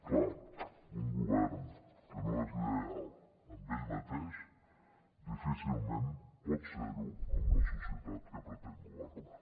clar un govern que no és lleial amb ell mateix difícilment pot ser ho amb la societat que pretén governar